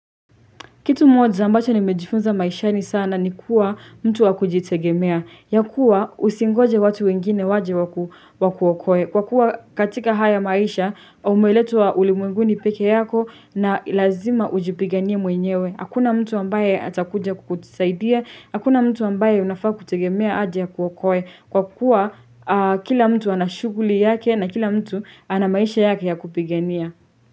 Kitu moja ambacho nimejifunza maishani sana ni kuwa mtu wakujitegemea, ya kuwa usingoje watu wengine waje wakuokoe, kwa kuwa katika haya maisha umeletwa ulimwenguni peke yako na lazima ujipiganie mwenyewe, hakuna mtu ambaye atakuja kukutisaidia, hakuna mtu ambaye unafaa kutegemea aje ya akuokoe, kwa kuwa kila mtu ana shughuli yake na kila mtu ana maisha yake ya kupigania.